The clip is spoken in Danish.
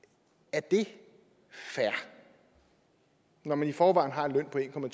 er det fair når man i forvejen har en løn på en